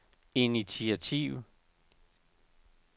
initiativ